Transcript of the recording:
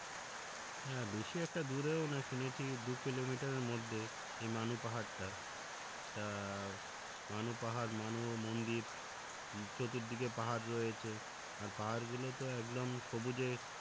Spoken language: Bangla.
হ্যা বেশি একটা দূরেও না শুনেছি দু কিলোমিটারের মধ্যেই এই মানু পাহাড় টা তা মানু পাহাড় মানু মন্দির আহ চতুর্দিকে পাহাড় রয়েছে আর পাহাড়গুলো তো একদম সবুজে